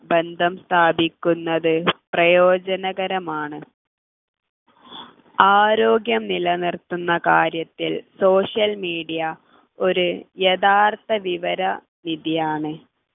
ബന്ധം സ്ഥാപിക്കുന്നത് പ്രയോജനകരമാണ് ആരോഗ്യം നിലനിർത്തുന്ന കാര്യത്തിൽ social media ഒരു യഥാർത്ഥവിവര വിധിയാണ്